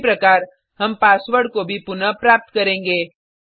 उसी प्रकार हम पासवर्ड को भी पुनः प्राप्त करेंगे